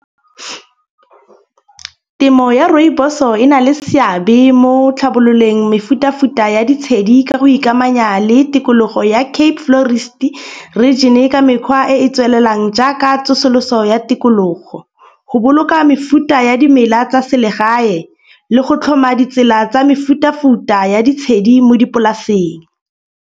Temo ya rooibos-o e na le seabe mo tlhabololeng mefutafuta ya ditshedi ka go ikamanya le tikologo ya Cape Florist region ka mekgwa e e tswelelang. Jaaka tsosoloso ya tikologo, go boloka mefuta ya dimela tsa selegae le go tlhoma ditsela tsa mefutafuta ya ditshedi mo dipolasing.